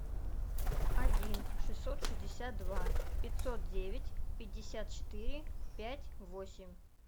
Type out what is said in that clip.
один шестьсот шестьдесят два пятьсот девять пятьдесят четыре пять восемь